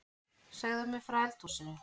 Segðu mér frá eldhúsinu